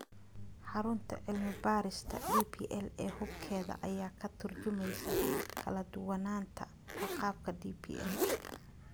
Xarunta cilmi baarista DPL ee hubkeeda ayaa ka tarjumaysa kala duwanaanta agabka DPL.